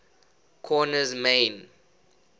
korner's main